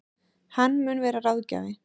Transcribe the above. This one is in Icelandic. Hann mun vera ráðgjafi